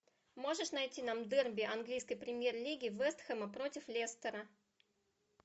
можешь найти нам дерби английской премьер лиги вест хэма против лестера